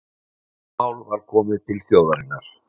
Það mál var komið til þjóðarinnar